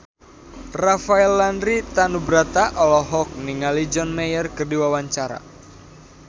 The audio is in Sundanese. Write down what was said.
Rafael Landry Tanubrata olohok ningali John Mayer keur diwawancara